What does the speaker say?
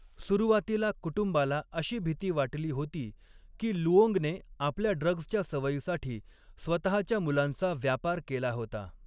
सुरुवातीला कुटुंबाला अशी भीती वाटली होती की लुओंगने आपल्या ड्रग्सच्या सवयीसाठी स्वतःच्या मुलांचा व्यापार केला होता.